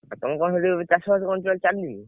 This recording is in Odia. ଆଉ ତମର କଣ ସେଠି ଚାଷ ବାସ କଣ ଚାଲିଛି ?